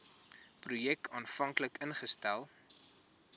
projek aanvanklik ingestel